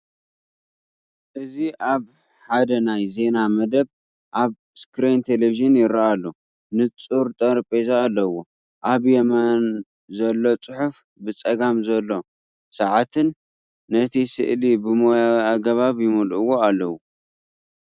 እዚ ሓደ ናይ ዜና መደብ ኣብ ስክሪን ቴሌቪዥን ይርአ ኣሎ። ንጹር ጠረጴዛ ኣለዎ። ኣብ የማን ዘሎ ጽሑፍን ብጸጋም ዘሎ ሰዓትን ነቲ ስእሊ ብሞያዊ ኣገባብ ይምልእዎ ኣለው።